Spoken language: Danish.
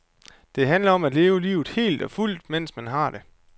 Det handler om at leve livet helt og fuldt, mens man har det.